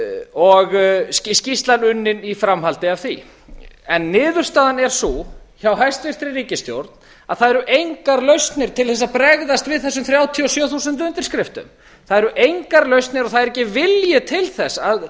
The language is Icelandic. og skýrslan unnin í framhaldi af því en niðurstaðan er sú hjá hæstvirtri ríkisstjórn að það eru engar lausnir til þess að bregðast við þessum þrjátíu og sjö þúsund undirskriftum það eru engar lausnir og það er ekki vilji til þess að